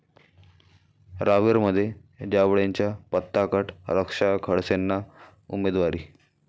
रावेरमध्ये जावळेंचा पत्ता कट, रक्षा खडसेंना उमेदवारी